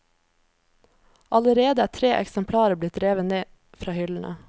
Allerede er tre eksemplarer blitt revet ned fra hyllene.